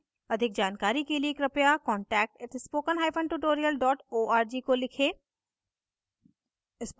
अधिक जानकारी के लिए कृपया contact @spokentutorial org को लिखें